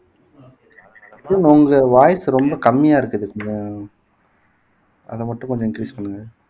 உங்க voice ரொம்ப கம்மியா இருக்குது கொஞ்சம் அத மட்டும் கொஞ்சம் increase பண்ணுங்க